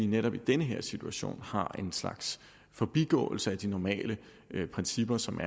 netop i den her situation har en slags forbigåelse af de normale principper som